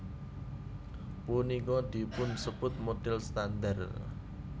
Punika dipunsebut modhel standar